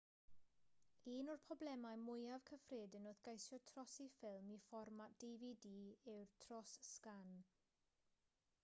un o'r problemau mwyaf cyffredin wrth geisio trosi ffilm i fformat dvd yw'r tros-sgan